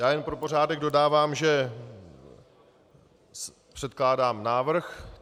Já jenom pro pořádek dodávám, že předkládám návrh.